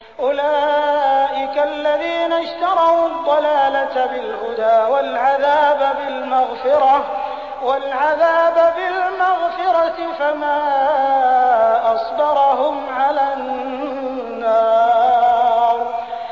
أُولَٰئِكَ الَّذِينَ اشْتَرَوُا الضَّلَالَةَ بِالْهُدَىٰ وَالْعَذَابَ بِالْمَغْفِرَةِ ۚ فَمَا أَصْبَرَهُمْ عَلَى النَّارِ